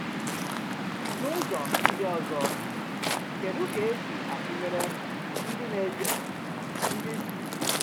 N’ụzọ ndị ọzọ, kedụ ka e si atụnyere ndị na-eje na-eje ozi Chineke na osisi?